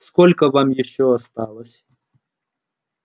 сколько вам ещё осталось